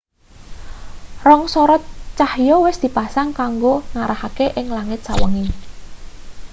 rong sorot cahya wis dipasang kanggo ngarahake ing langit sawengi